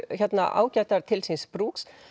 ágætar til síns brúks